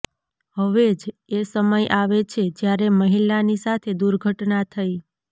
હવે જ એ સમય આવે છે જ્યારે મહિલાની સાથે દુર્ઘટના થઈ